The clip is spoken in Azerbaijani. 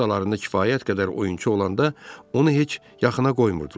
Komandalarında kifayət qədər oyunçu olanda onu heç yaxına qoymurdular.